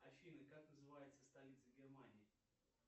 афина как называется столица германии